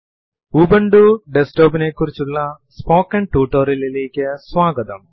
hi ലിനക്സിലെ general purpose utilities നെ കുറിച്ചുള്ള സ്പോക്കെൻ ടുട്ടോറിയലിലേക്ക് സ്വാഗതം